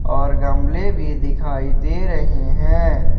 और गमले भी दिखाई दे रहे हैं।